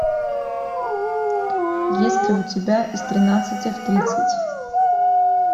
есть ли у тебя из тринадцати в тридцать